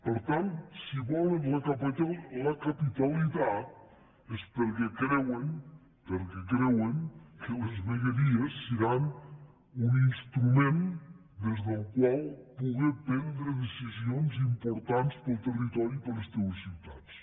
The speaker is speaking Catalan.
per tant si volen la capitalitat és perquè creuen que les vegueries seran un instrument des del qual poder prendre decisions importants per al territori i per a les teues ciutats